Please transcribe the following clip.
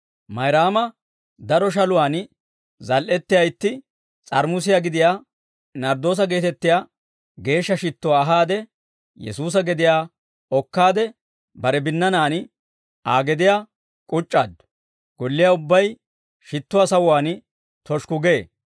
Mayraama daro shaluwaan zal"ettiyaa itti s'aaramusiyaa gidiyaa narddoosa geetettiyaa geeshsha shittuwaa ahaade, Yesuusa gediyaa okkaade bare binnanaan Aa gediyaa k'uc'c'aaddu; golliyaa ubbay shittuwaa sawuwaan toshikku gee.